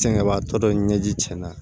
Sɛŋɛbatɔ dɔ ye ɲɛji cɛna